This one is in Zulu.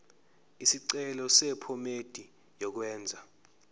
isicelo sephomedi yokwenze